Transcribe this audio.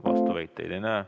Vastuväiteid ei näe.